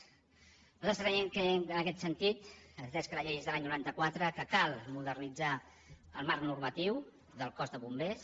nosaltres creiem en aquest sentit atès que la llei és de l’any noranta quatre que cal modernitzar el marc normatiu del cos de bombers